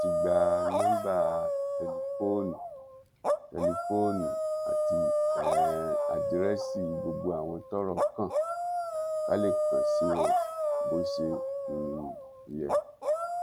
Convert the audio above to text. a ti gba nọmba tẹlifóònù tẹlifóònù àti um àdírẹsì gbogbo àwọn tọrọ kàn ká lè kàn sí wọn bó ṣe um yẹ